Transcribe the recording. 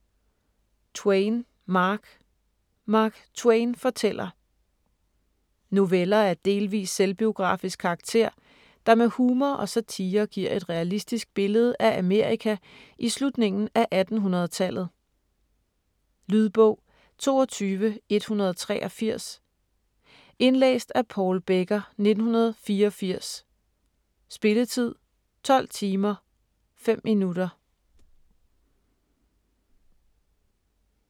Twain, Mark: Mark Twain fortæller Noveller af delvis selvbiografisk karakter, der med humor og satire giver et realistisk billede af Amerika i slutningen af 1800-tallet. Lydbog 22183 Indlæst af Paul Becker, 1984. Spilletid: 12 timer, 5 minutter.